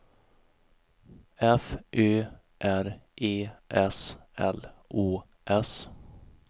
F Ö R E S L Å S